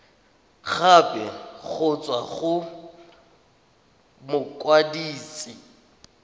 gape go tswa go mokwadise